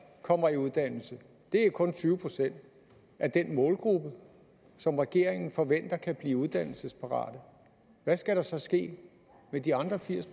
kommer i uddannelse det er jo kun tyve procent af den målgruppe som regeringen forventer kan blive uddannelsesparate hvad skal der så ske med de andre firs